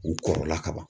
U kɔrɔla ka ban